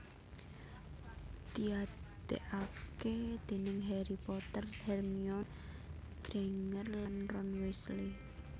diadekake déning Harry Potter Hermione Granger lan Ron Weasley